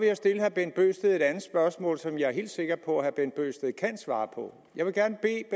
jeg stille herre bent bøgsted et andet spørgsmål som jeg er helt sikker på at herre bent bøgsted kan svare på jeg vil gerne bede